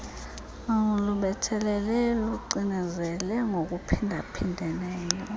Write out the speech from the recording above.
lubethelele lucinezele ngokuphindaphindeneyo